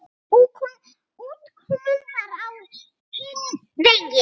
Útkoman var á hinn veginn.